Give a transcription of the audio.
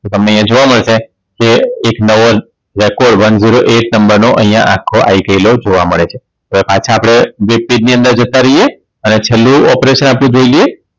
તો તમને અહીંયા જોવા મળશે કે એક નવો Record One Zero Eight નંબર નો અહીંયા આખો Ikelo જોવ મળે છે એવા પાછા આપણે જે પેજ ની અંદર જતા રહીએ અને છેલ્લું operation આપણે જોઈએ